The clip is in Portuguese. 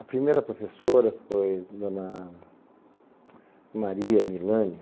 A primeira professora foi Dona Maria Milânio.